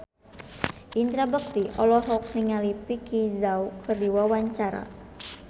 Indra Bekti olohok ningali Vicki Zao keur diwawancara